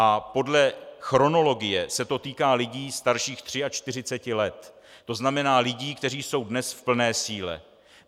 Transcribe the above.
A podle chronologie se to týká lidí starších 43 let, to znamená lidí, kteří jsou dnes v plné síle.